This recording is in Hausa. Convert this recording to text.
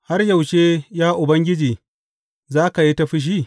Har yaushe, ya Ubangiji za ka yi ta fushi?